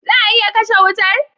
Za a iya kashe wutar?